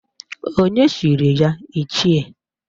Onye chiri ya Ichie?